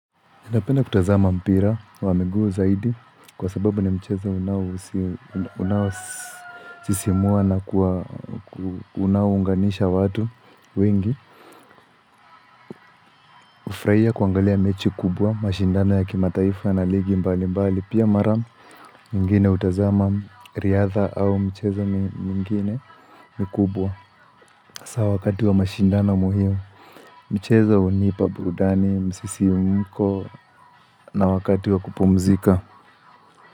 Napenda kutazama mpira wa mguu zaidi kwa sababu ni mchezo unaosisimua na unaunganisha watu wengi Ufuraia kuangalia mechi kubwa, mashindano ya kimataifa na ligi mbali mbali Pia mara mingine utazama riadha au mchezo mingine mikubwa sa wakati wa mashindano muhimu mchezo unipa burudani, msisimko na wakati wa kupumzika.